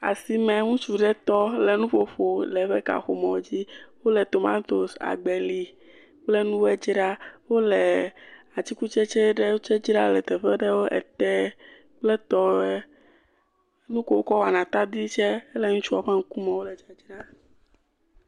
Asime ŋutsu ɖe tɔ le nuƒoƒo le eƒe kaƒomɔ dzi. Wole tomatosi, agbeli kple nuwoe dzraa. Wole atikutsetse ɖewo tse dzram le teƒe aɖe kple tɔwoe. Nuko wokɔ wɔna atadi tse ele ŋutsua gbɔ.